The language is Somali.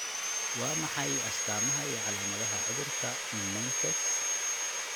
Waa maxay astamaha iyo calaamadaha cudurka Menkes?